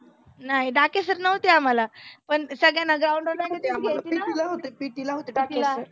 नाही डाके sir नव्हते आम्हाला. पण सगळ्यांना ground वर PT ला PT ला होते डाके sir